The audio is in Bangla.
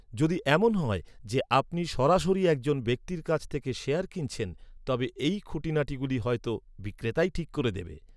যদি এমন হয় যে আপনি সরাসরি একজন ব্যক্তির কাছ থেকে শেয়ার কিনছেন, তবে এই খুঁটিনাটিগুলি হয়তো বিক্রেতাই ঠিক করে দেবে।